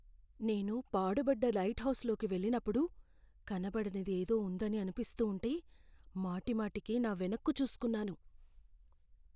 నేను పాడుబడ్డ లైట్హౌస్లోకి వెళ్లినప్పుడు, కనపడనిది ఏదో ఉందని అనిపిస్తూ ఉంటే, మాటిమాటికి నా వెనక్కి చూస్కున్నాను.